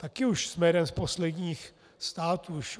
Také už jsme jedním z posledních států.